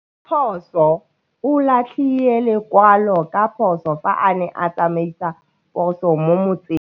Raposo o latlhie lekwalô ka phosô fa a ne a tsamaisa poso mo motseng.